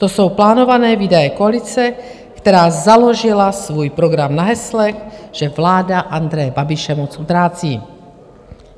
To jsou plánované výdaje koalice, která založila svůj program na hesle, že vláda Andreje Babiše moc utrácí.